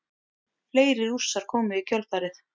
Fleiri Rússar komu í kjölfarið.